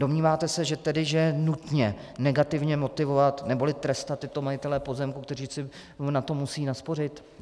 Domníváte se tedy, že je nutné negativně motivovat neboli trestat tyto majitele pozemku, kteří si na to musí naspořit?